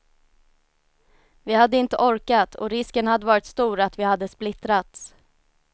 Vi hade inte orkat och risken hade varit stor att vi hade splittrats.